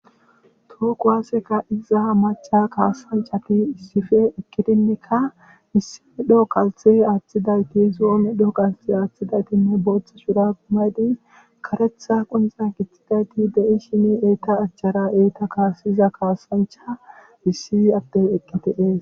To kuwase ka'iza maca kasanchati Issippe eqidineka issi medho kalthe aathidayti, zo7o medho kalthe athidaytinne bootha medho kalthe aathidayti bootha shurabe mayid karetha qonxa gixidayti de'etes, eta achara ha eta kasiza kasancha issi adey eqi de'es